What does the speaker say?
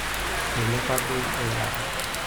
Eilepa bei eilata.